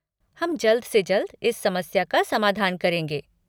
हम जल्द से जल्द इस समस्या का समाधान करेंगे।